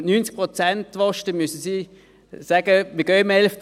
Wenn Sie 90 Prozent wollen, dann müssten Sie sagen, dass diese im 11. Jahr gehen.